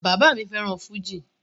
Bàbá mi fẹ́ràn fújì